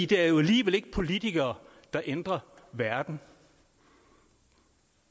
det er jo alligevel ikke politikere der ændrer verden